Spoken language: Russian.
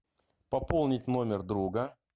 пополнить номер друга